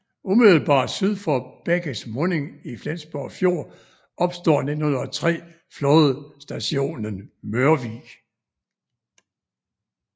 Umiddelbart syd for bækkes munding i Flensborg Fjord opstår 1903 flådestationen Mørvig